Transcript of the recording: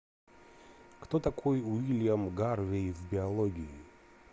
кто такой уильям гарвей в биологии